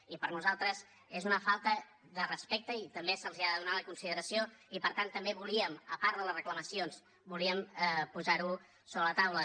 i per nosaltres és una falta de respecte i també se’ls ha de donar la consideració i per tant també volíem a part de les reclamacions volíem posar ho sobre la taula